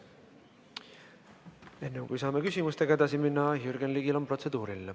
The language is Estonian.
Enne, kui saame küsimustega edasi minna, on Jürgen Ligil protseduuriline.